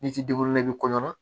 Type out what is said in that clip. N'i t'i i bɛ kɔɲɔ